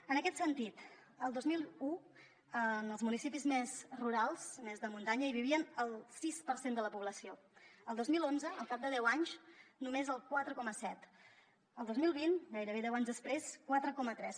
en aquest sentit el dos mil un en els municipis més rurals més de muntanya hi vivia el sis per cent de la població el dos mil onze al cap de deu anys només el quatre coma set el dos mil vint gairebé deu anys després quatre coma tres